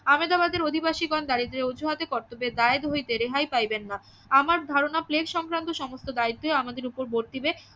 আহমেদাবাদের অধিবাসীগণ দারিদ্রের অজুহাতে কর্তব্যের দায়ের হইতে রেহাই পাইবেন না আমার ধারণা প্লেগ সংক্রান্ত সমস্ত দায়িত্ব আমাদের ওপর বর্তিবে